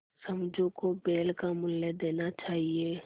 समझू को बैल का मूल्य देना चाहिए